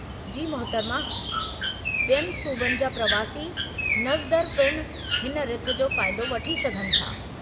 जी मुहतरमा, ॿियनि सूबनि जा प्रवासी मज़दूरु पिण हिन रिथ जो फ़ाइदो वठी सघनि था।